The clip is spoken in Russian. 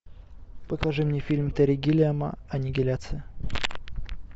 покажи мне фильм терри гиллиама аннигиляция